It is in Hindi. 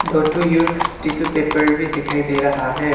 दो ठो यूस टिश्यू पेपर भी दिखाई दे रहा है।